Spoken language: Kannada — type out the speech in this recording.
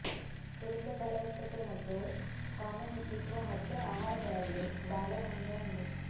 ಪುರುಷ ಫಲವತ್ತತೆ ಮತ್ತು ಕಾಮ ಹೆಚ್ಚಿಸುವ ಹತ್ತು ಆಹಾರಗಳಲ್ಲಿ ಬಾಳೆ ಹಣ್ಣು ಒಂದು